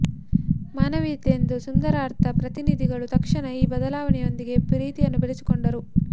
ಮಾನವೀಯತೆಯ ಸುಂದರ ಅರ್ಧ ಪ್ರತಿನಿಧಿಗಳು ತಕ್ಷಣ ಈ ಬದಲಾವಣೆಯೊಂದಿಗೆ ಪ್ರೀತಿಯನ್ನು ಬೆಳೆಸಿಕೊಂಡರು